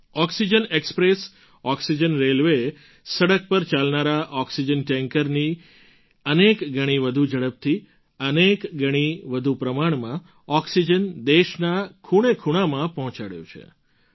oxygen express oxygen રેલવેએ સડક પર ચાલનારા ઑક્સિજન ટૅન્કરથી અનેક ગણી વધુ ઝડપથી અનેક ગણી વધુ પ્રમાણમાં ઑક્સિજન દેશના ખૂણેખૂણામાં પહોંચાડ્યો છે